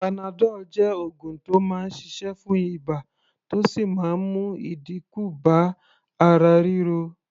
Panadol jẹ́ oògùn tó máa ń ṣiṣẹ́ fún ibà, tó sì máa ń mú ìdínkù bá ara ríro.